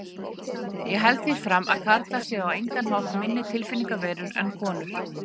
Ég held því fram að karlar séu á engan hátt minni tilfinningaverur en konur.